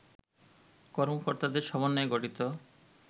কর্মকর্তাদের সমন্বয়ে গঠিত